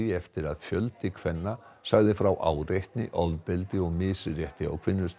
eftir að fjöldi kvenna sagði frá áreitni ofbeldi og misrétti á